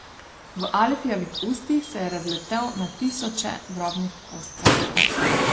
V Alfijevih ustih se je razletel na tisoče drobnih koscev.